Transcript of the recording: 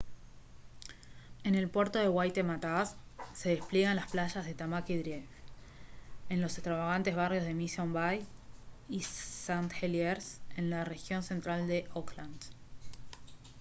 en el puerto de waitemataas se despliegan las playas de tamaki drive en los extravagantes barrios de mission bay y st heliers en la región central de auckland